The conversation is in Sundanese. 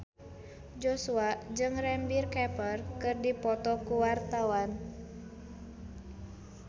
Joshua jeung Ranbir Kapoor keur dipoto ku wartawan